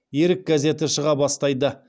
ерік газеті шыға бастайды